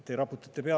Te raputate pead.